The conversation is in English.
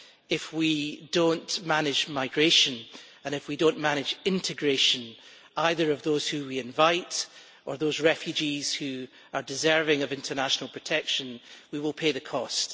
if we do not manage migration, and if we do not manage the integration of those whom we invite or of those refugees who are deserving of international protection, we will pay the cost.